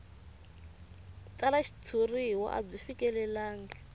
tsala xitshuriwa a byi fikelelangi